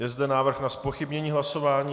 Je zde návrh na zpochybnění hlasování.